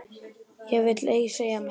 Ég vil ei segja meira.